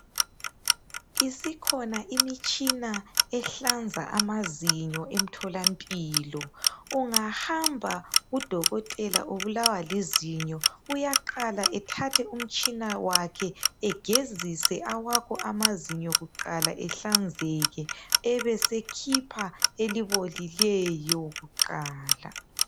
Isikhona imitshina ehlanza amazinyo emtholampilo. Ungahamba kudokotela, ubulawa lizinyo, uyaqala ethathe umtshina wakhe, egezise awakho amazinyo kuqala ehlanzeke. Abesekhupha elibolileyo kuqala.